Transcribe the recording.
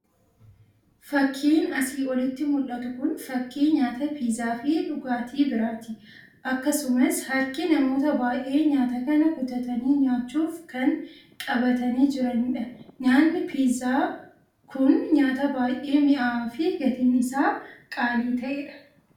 Fakiin asii olitti mul'atu kun fakii nyaata piizaa fii dhugaatii biraati. akkasumas harkii namoota baay'ee nyaata kana kutatanii nyaachuuf kan qabataanii jiranidha. Nyaanni piizaa kun nyaata baay'ee mi'awaa fi gatiin isaa qaalii ta'edha.